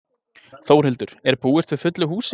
Þórhildur, er búist við fullu húsi?